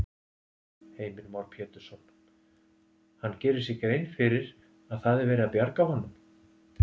Heimir Már Pétursson: Hann gerir sér grein fyrir að það er verið að bjarga honum?